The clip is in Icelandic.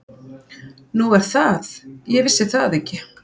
Nú er það, ég vissi það ekki.